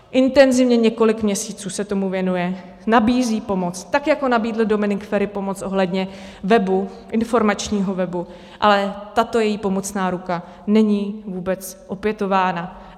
Intenzivně několik měsíců se tomu věnuje, nabízí pomoc, tak jako nabídl Dominik Feri pomoc ohledně webu, informačního webu, ale tato její pomocná ruku není vůbec opětována.